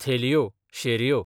थेलयो, शेरयो